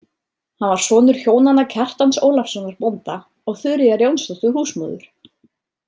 Hann var sonur hjónanna Kjartans Ólafssonar bónda og Þuríðar Jónsdóttur húsmóður.